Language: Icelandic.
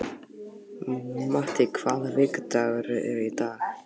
Matti, hvaða vikudagur er í dag?